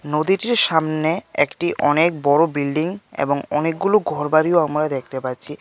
নদীটির সামনে একটি অনেক বড়ো বিল্ডিং এবং অনেকগুলো ঘরবাড়িও আমরা দেখতে পাচ্ছি.